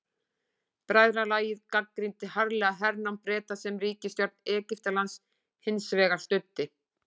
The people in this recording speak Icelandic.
Bræðralagið gagnrýndi harðlega hernám Breta sem ríkisstjórn Egyptalands hins vegar studdi.